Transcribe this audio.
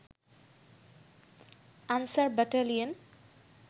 answer battalion